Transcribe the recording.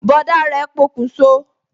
Bọ̀dá rẹ pokun so